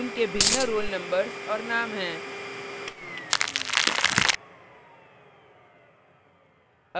उनके भिन्न roll numbers और names हैं